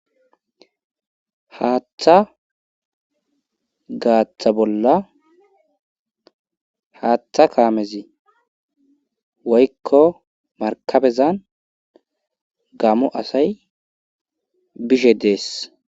haaththa gaaththa bolla haaththa kaamezi woykko markabezan gammo asay bishe dees